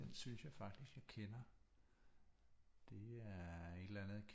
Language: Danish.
Den synes jeg faktisk jeg kender det er et eller andet